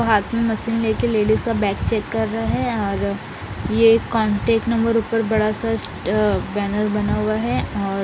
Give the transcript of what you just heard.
हाथ में मशीन लेके लेडीज का बैग चेक कर रहा हैं और ये कांटेक नम्बर ऊपर बड़ा सा इस बैनर बना हुआ हैं और--